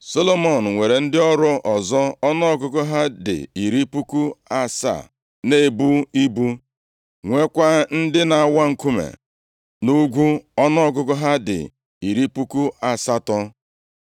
Solomọn nwere ndị ọrụ ọzọ ọnụọgụgụ ha dị iri puku asaa na-ebu ibu, nweekwa ndị na-awa nkume nʼugwu ọnụọgụgụ ha dị iri puku asatọ.